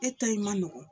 E ta in ma nɔgɔn